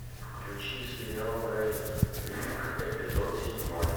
включи сериал брэйн ринг эпизод седьмой